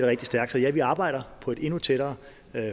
rigtig stærkt så ja vi arbejder på et endnu tættere